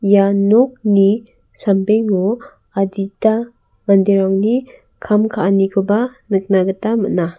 ia nokni sambengo adita manderangni kam ka·anikoba nikna gita man·a.